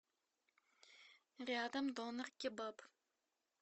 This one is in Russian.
рядом донер кебаб